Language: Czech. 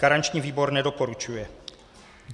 Garanční výbor nedoporučuje.